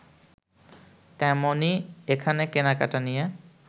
তেমনি এখানে কেনাকেটা নিয়ে